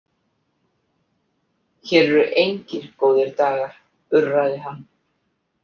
Hér eru engir góðar dagar, urraði hann.